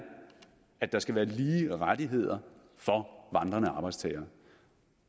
at der skal være lige rettigheder for vandrende arbejdstagere